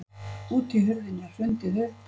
Útihurðinni er hrundið upp.